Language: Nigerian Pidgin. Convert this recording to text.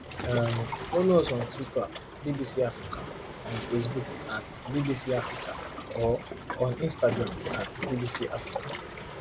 um follow us on twitterbbcafrica on facebook atbbc africaor on instagram atbbcafrica